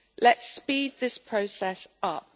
Let's speed this process up.